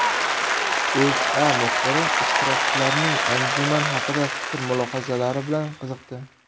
O‘zA muxbiri ishtirokchilarning anjuman haqida fikr-mulohazalari bilan qiziqdi .